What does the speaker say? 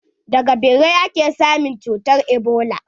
Daga ɓirai ake samun cutar ebola.